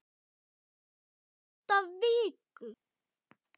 Þessar átta vikur, sirka.